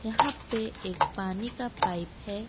यहां पे एक पानी का पाइप है।